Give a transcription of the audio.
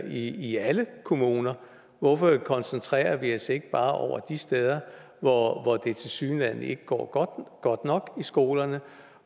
i i alle kommuner hvorfor koncentrerer vi os ikke bare om de steder hvor det tilsyneladende ikke går godt nok i skolerne